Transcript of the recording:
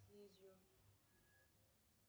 видео